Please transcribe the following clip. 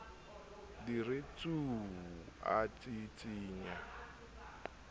di re tsuuu a tsitsinya